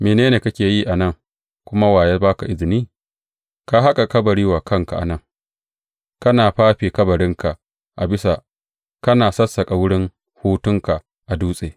Mene ne kake yi a nan kuma wa ya ba ka izini ka haƙa kabari wa kanka a nan, kana fafe kabarinka a bisa kana sassaƙa wurin hutunka a dutse?